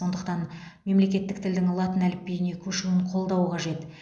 сондықтан мемлекеттік тілдің латын әліпбиіне көшуін қолдау қажет